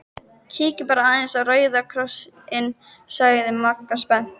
Kíkjum bara aðeins á Rauða Kross- inn sagði Magga spennt.